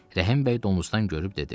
Rəhimbəy domuzdan görüb dedi.